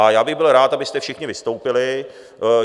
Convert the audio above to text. A já bych byl rád, abyste všichni vystoupili.